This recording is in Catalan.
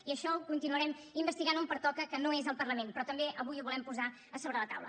i això ho continuarem investigant on pertoca que no és al parlament però també avui ho volem posar a sobre la taula